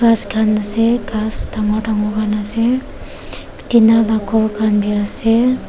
ghas khan ase ghas dangor dangor khan ase tina la ghor khan bhi ase.